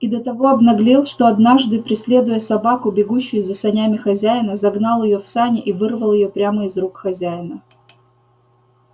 и до того обнаглел что однажды преследуя собаку бегущую за санями хозяина загнал её в сани и вырвал её прямо из рук хозяина